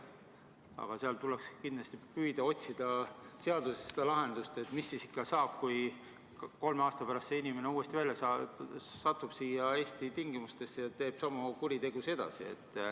Aga seal tuleks kindlasti püüda otsida seaduses lahendust, et mis siis saab, kui kolme aasta pärast see inimene uuesti välja saab, satub siia Eesti tingimustesse ja teeb samu kuritegusid edasi.